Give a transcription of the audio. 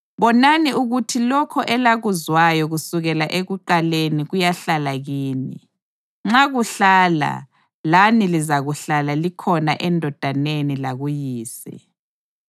Bonani ukuthi lokho elakuzwayo kusukela ekuqaleni kuyahlala kini. Nxa kuhlala, lani lizahlala likhona eNdodaneni lakuYise.